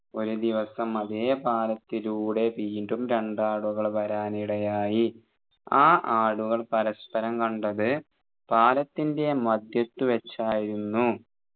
ഒരു ദിവസം അതെ പാലത്തിലൂടെ വീണ്ടും രണ്ടാടുകൾ വരാൻ ഇടയായി ആ ആടുകൾ പരസ്പരം കണ്ടത് പാലത്തിന്റെ മധ്യത്തു വെച്ചായിരുന്നു